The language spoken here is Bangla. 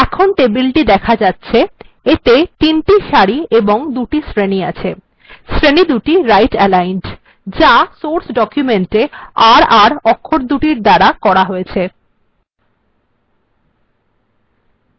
এখন টেবিলটি দেখা যাচ্ছে এতে তিনটি সারি এবং দুটি শ্রেণী বিশিষ্ট টেবিলটি দেখা যাচ্ছে শ্রেণীদুটি right aligned যা সোর্স ডকুমেন্টএ r r অক্ষরদুটির দ্বারা করা হয়েছে